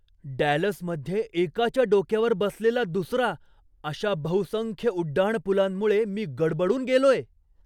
डॅलसमध्ये एकाच्या डोक्यावर बसलेला दुसरा अशा बहुसंख्य उड्डाणपूलांमुळे मी गडबडून गेलोय.